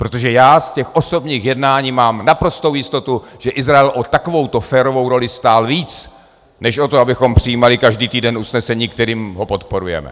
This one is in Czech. Protože já z těch osobních jednání mám naprostou jistotu, že Izrael o takovouto férovou roli stál víc než o to, abychom přijímali každý týden usnesení, kterým ho podporujeme.